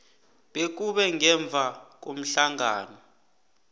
bekube ngemva komhlangano